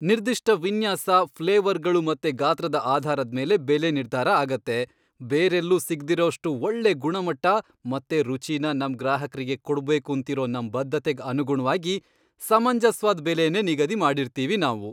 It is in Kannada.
ನಿರ್ದಿಷ್ಟ ವಿನ್ಯಾಸ, ಫ್ಲೇವರ್ಗಳು ಮತ್ತೆ ಗಾತ್ರದ ಆಧಾರದ್ಮೇಲೆ ಬೆಲೆ ನಿರ್ಧಾರ ಆಗತ್ತೆ. ಬೇರೆಲ್ಲೂ ಸಿಗ್ದಿರೋಷ್ಟು ಒಳ್ಳೆ ಗುಣಮಟ್ಟ ಮತ್ತೆ ರುಚಿನ ನಮ್ ಗ್ರಾಹಕ್ರಿಗೆ ಕೊಡ್ಬೇಕೂಂತಿರೋ ನಮ್ ಬದ್ಧತೆಗ್ ಅನುಗುಣ್ವಾಗಿ ಸಮಂಜಸ್ವಾದ್ ಬೆಲೆನೇ ನಿಗದಿ ಮಾಡಿರ್ತೀವಿ ನಾವು.